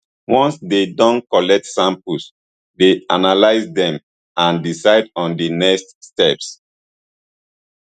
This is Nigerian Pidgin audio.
once dey don collect samples dey analyse dem and decide on di next steps